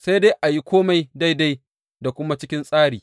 Sai dai a yi kome daidai da kuma cikin tsari.